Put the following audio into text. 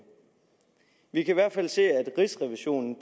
vi kan i hvert fald se at rigsrevisionen